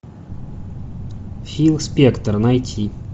фил спектор найти